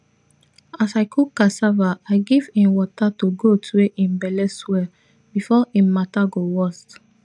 as i cook cassava i give im water to goat wey im belle swell before im mata go worse